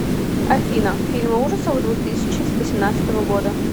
афина фильмы ужасов двух тысяча восемнадцатого года